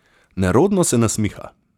Nerodno se nasmiha.